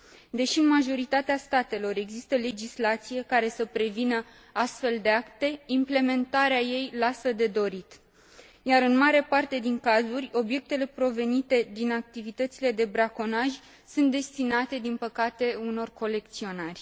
Deși în majoritatea statelor există legislație care să prevină astfel de acte, implementarea ei lasă de dorit, iar, în mare parte din cazuri, obiectele provenite din activitățile de braconaj sunt destinate, din păcate, unor colecționari.